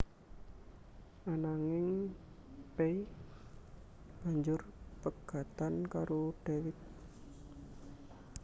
Ananging Pay banjur pegatan karo Dewiq